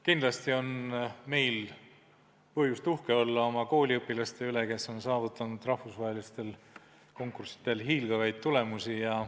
Kindlasti on meil põhjust uhke olla oma kooliõpilaste üle, kes on saavutanud rahvusvahelistel konkurssidel hiilgavaid tulemusi.